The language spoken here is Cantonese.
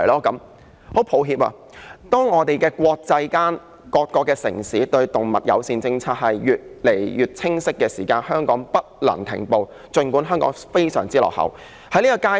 很抱歉，國際間、各個城市的動物友善政策也越來越清晰，儘管香港在這方面非常落後，但也不能停步。